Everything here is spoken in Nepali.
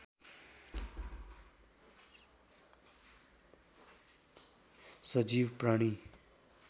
सजीव प्राणी